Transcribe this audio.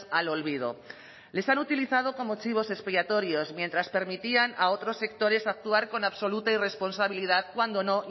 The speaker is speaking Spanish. al olvido les han utilizado como chivos expiatorios mientras permitían a otros sectores actuar con absoluta irresponsabilidad cuando no